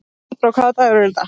Tíbrá, hvaða dagur er í dag?